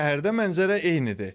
Şəhərdə mənzərə eynidir.